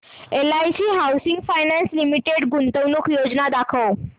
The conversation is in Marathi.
एलआयसी हाऊसिंग फायनान्स लिमिटेड गुंतवणूक योजना दाखव